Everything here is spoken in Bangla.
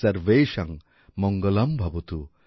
সর্বেষাং মঙ্গলম্ভবতু